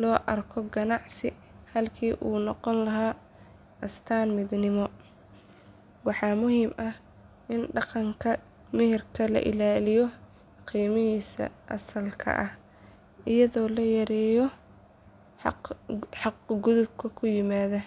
loo arko ganacsi halkii uu noqon lahaa astaanta midnimo. Waxaa muhiim ah in dhaqanka meherka loo ilaaliyo qiimihiisa asalka ah iyadoo la yareeyo xadgudubka ku yimaada.